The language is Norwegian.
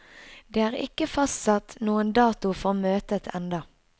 Det er ikke fastsatt noen dato for møtet enda.